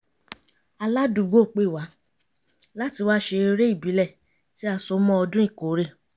aládùúgbò pè wá láti wá ṣe eré ìbílẹ̀ tí a so mọ́ ọdún ìkórè